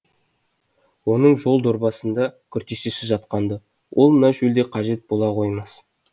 оның жол дорбасында күртешесі жатқан ды ол мына шөлде қажет бола қоймас